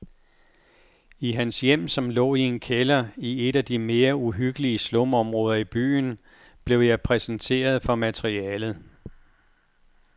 I hans hjem, som lå i en kælder i et af de mere uhyggelige slumområder i byen, blev jeg præsenteret for materialet.